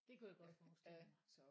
Det kunne jeg godt forestille mig